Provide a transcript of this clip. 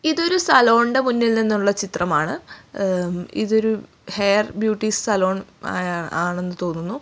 ഇതൊരു സലോണിന്റെ മുന്നിൽ നിന്നുള്ള ചിത്രമാണ് ഏ ഇതൊരു ഹെയർ ബ്യൂട്ടി സലോൺ ആ ആണെന്ന് തോന്നുന്നു.